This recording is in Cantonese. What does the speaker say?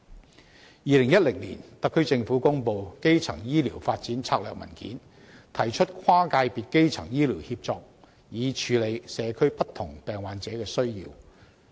在2010年，特區政府公布《香港的基層醫療發展策略文件》，提升跨界別基層醫療協作，以處理社區不同病患者的需要。